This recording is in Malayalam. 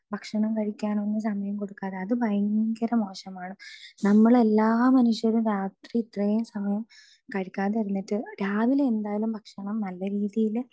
സ്പീക്കർ 2 ഭക്ഷണം കഴിക്കാനൊന്നും സമയം കൊടുക്കാതെ അത് ഭയങ്കര മോശമാണ് നമ്മൾ എല്ലാ മനുഷ്യരും രാത്രി ഇത്രയും സമയം കഴിക്കാതെ ഇരുന്നിട്ട് രാവിലെ എന്തായാലും നല്ല രീതിയില്